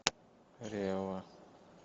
ревва